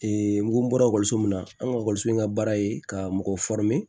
n ko n bɔra min na an ka in ka baara ye ka mɔgɔ